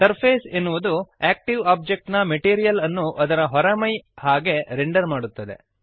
surface ಎನ್ನುವುದು active object ನ material ಅನ್ನು ಅದರ ಹೊರಮೈಯ ಹಾಗೆ ರೆಂಡರ್ ಮಾಡುತ್ತದೆ